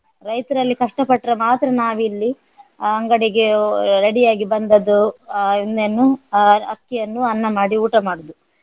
ರೈತರು ಅಲ್ಲಿ ಕಷ್ಟ ಪಟ್ರೆ ಮಾತ್ರ ನಾವಿಲ್ಲಿ ಅಂಗಡಿಗೆ ready ಆಗಿ ಬಂದದ್ದು ಆಹ್ ಆಹ್ ಅಕ್ಕಿ ಅನ್ನು ಅನ್ನ ಮಾಡಿ ಊಟ ಮಾಡುದು.